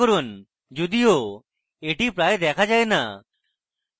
যদিও এটি প্রায় দেখা যায় না